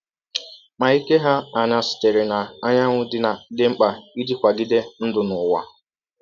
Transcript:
Ma ike hà aṅaa sitere n’anyanwụ dị mkpa iji kwagide ndụ n’ụwa?